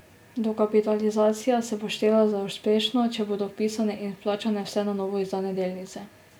Dokapitalizacija se bo štela za uspešno, če bodo vpisane in vplačane vse na novo izdane delnice.